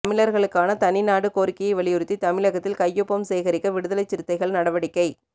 தமிழர்களுக்கான தனிநாடு கோரிக்கையை வலியுறுத்தி தமிழகத்தில் கையொப்பம் சேகரிக்க விடுதலைச் சிறுத்தைகள் நடவடிக்கை